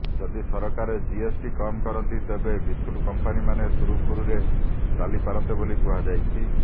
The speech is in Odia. ଯଦି ସରକାର ଜିଏସଟି କମ୍ କରନ୍ତି ତେବେ ବିସ୍କୁଟ କମ୍ପାନୀମାନେ ସୁରୁଖୁରୁରେ ଚାଲିପାରନ୍ତେ ବୋଲି କୁହାଯାଇଛି